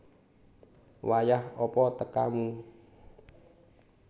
Wayah apa tekamu